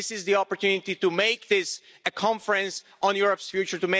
This is the opportunity to make this a conference on Europe's future